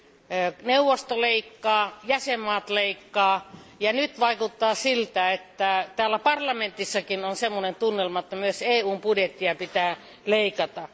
enemmän. Neuvosto leikkaa, jäsenvaltiot leikkaavat, ja nyt vaikuttaa siltä, että täällä parlamentissakin on sellainen tunnelma, että myös EUn budjettia pitää leikata.